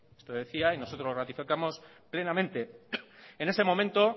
esto decía y nosotros ratificamos plenamente en ese momento